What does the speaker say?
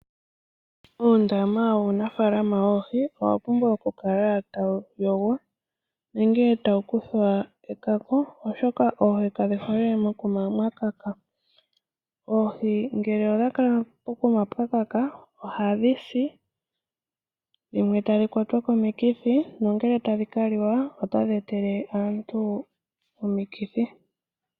Uundama wunafaalama woohi owa pumbwa oku kala tawu yogwa nenge tawu kuthwa ekako, oshoka oohi kadhi hole mokuma mwakaka. Oohi ngele odha kala pokuma pwakaka ohadhi si dhimwe tadhi kwatwa komikithi. Nongele tadhika liwa ota dhi etele aantu omikithi.